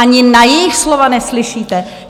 Ani na jejich slova neslyšíte?